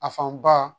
A fan ba